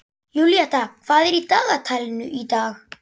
Júlíetta, hvað er í dagatalinu í dag?